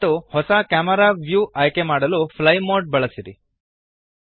ಮತ್ತು ಹೊಸ camera view ಆಯ್ಕೆಮಾಡಲು ಫ್ಲೈ ಮೋಡ್ ಬಳಸಿರಿ